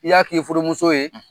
I y'a k'i furumuso ye